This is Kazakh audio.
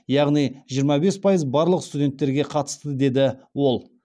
яғни жиырма бес пайыз барлық студенттерге қатысты деді ол